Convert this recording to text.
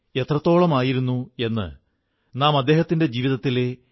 എന്നാൽ അതോടൊപ്പം ആപത്തുകളുടെമേൽ സാഹസത്തിന്റെ വിജയദിനംകൂടിയാണ്